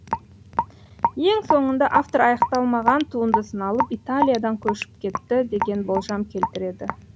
ең соңында автор аяқталмаған туындысын алып италиядан көшіп кетті деген болжам келтіреді